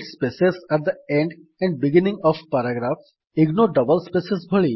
delete space at the end and beginning of paragraph ignore double space ଭଳି